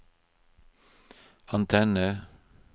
antenne